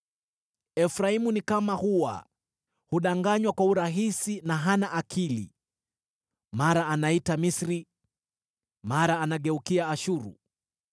“Efraimu ni kama hua, hudanganywa kwa urahisi na hana akili: mara anaita Misri, mara anageukia Ashuru.